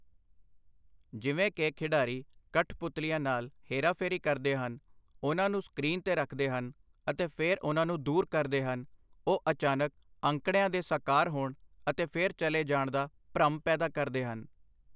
ਜਿਵੇਂ ਕਿ ਖਿਡਾਰੀ ਕਠਪੁਤਲੀਆਂ ਨਾਲ ਹੇਰਾਫੇਰੀ ਕਰਦੇ ਹਨ, ਉਨ੍ਹਾਂ ਨੂੰ ਸਕ੍ਰੀਨ 'ਤੇ ਰੱਖਦੇ ਹਨ ਅਤੇ ਫਿਰ ਉਨ੍ਹਾਂ ਨੂੰ ਦੂਰ ਕਰਦੇ ਹਨ, ਉਹ ਅਚਾਨਕ ਅੰਕੜਿਆਂ ਦੇ ਸਾਕਾਰ ਹੋਣ ਅਤੇ ਫਿਰ ਚੱਲੇ ਜਾਣ ਦਾ ਭਰਮ ਪੈਦਾ ਕਰਦੇ ਹਨ।